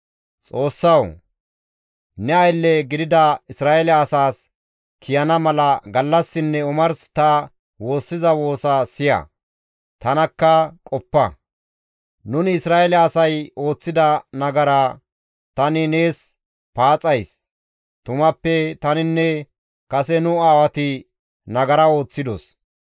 Xoossawu! Ne aylle gidida Isra7eele asaas kiyana mala gallassinne omars ta woossiza woosa siya; tanakka qoppa; nuni Isra7eele asay ooththida nagara tani nees paaxays; tumappe taninne kase nu aawati nagara ooththidos.